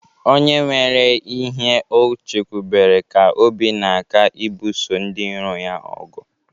Onye nwere ihe o chekwubere ka obi na-aka ibuso ndiiro ya ogu.